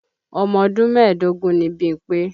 Ọmọdún mẹ́ẹ̀dógún ni Bímpé.